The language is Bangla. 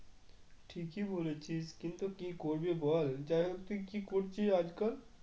ঠিকই বলেছিস কিন্তু কি করবি বল যাইহোক তুই কি করছিস আজকাল?